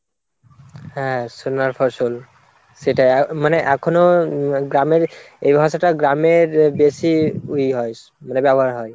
হ্যাঁ, সোনার ফসল সেটা মানে এখনো গ্রামের এই ভাষাটা গ্রামের বেশি ইয়ে হয় মানে ব্যবহার হয়।